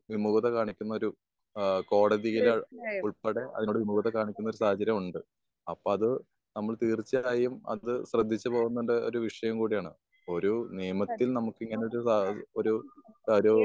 വിമൂകത കാണിക്കുന്ന ഒരു ഏഹ് കോടതിയില് ഉൾപ്പെടെ അതിനോട് വിമൂകത കാണിക്കുന്ന ഒരു സാഹചര്യമുണ്ട്. അപ്പൊ അത് നമ്മൾ തീർച്ചയായും അത് ശ്രദ്ധിച്ചു പോകേണ്ട ഒരു വിഷയം കൂടിയാണ്. ഇപ്പൊ ഒരു നിയമത്തിൽ നമുക്ക് ഇങ്ങനെ ഒരു ഒരു ഒരു